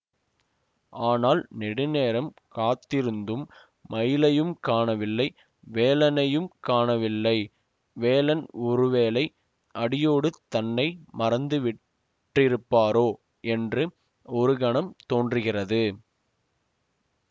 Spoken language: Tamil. ஆனால் நெடுநேரம் காத்திருந்தும் மயிலையும் காணவில்லை வேலனையும் காணவில்லை வேலன் ஒருவேளை அடியோடு தன்னை மறந்து விட்டிருப்பாரோ என்று ஒரு கணம் தோன்றுகிறது